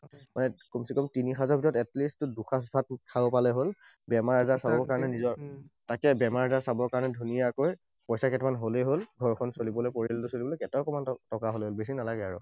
মানে কমছে কম তিনি সাঁজৰ ভিতৰত at least দুসাঁজ ভাত খাব পালেই হল। বেমাৰ আজাৰ চাবৰ কাৰণে নিজৰ তাকে বেমাৰ আজাৰ চাবৰ কাৰণে ধুনীয়াকৈ পইছা কেইটামান হলেই হল। ঘৰখন চলিবলৈ, পৰিয়ালটো চলিবলৈ, এটকামান টকা হলেই হল, বেছি নালাগে আৰু।